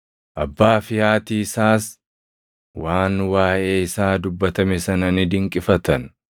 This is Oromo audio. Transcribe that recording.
Abbaa fi haati isaas waan waaʼee isaa dubbatame sana ni dinqifatan.